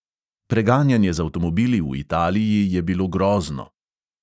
Preganjanje z avtomobili v italiji je bilo grozno.